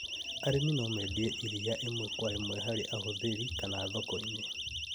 Arĩmi no mendie iria ĩmwe kwa ĩmwe harĩ ahũthĩri kanathoko-inĩ